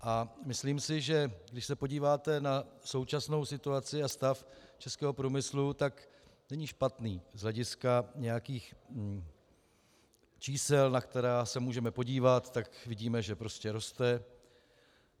A myslím si, že když se podíváte na současnou situaci a stav českého průmyslu, tak není špatný z hlediska nějakých čísel, na která se můžeme podívat, tak vidíme, že prostě roste.